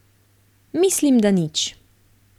Mislim, da nič.